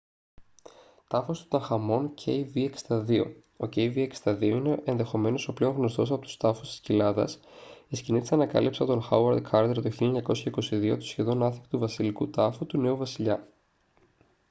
τάφος του τουταγχαμών kv62. ο kv62 είναι ενδεχομένως ο πλέον γνωστός από τους τάφους της κοιλάδας η σκηνή της ανακάλυψης από τον χάουαρντ κάρτερ το 1922 του σχεδόν άθικτου βασιλικού τάφου του νέου βασιλιά